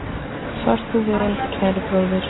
Far þú vel, kæri bróðir.